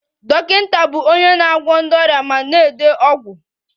Dọkịta bụ onye na-agwọ ndị ọrịa ma na-ede ọgwụ